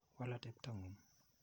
Wal atepto ng'ung'.